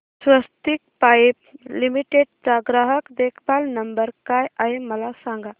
स्वस्तिक Pipe Limited चा ग्राहक देखभाल नंबर काय आहे मला सांगा